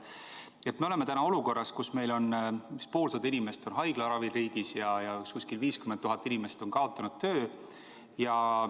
Me oleme täna olukorras, kus meil on riigis umbes poolsada inimest haiglaravil ja kuskil 50 000 inimest on kaotanud töö.